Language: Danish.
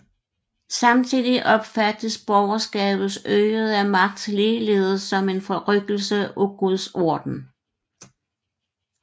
Samtidig opfattes borgerskabets øgede magt ligeledes som en forrykkelse af guds orden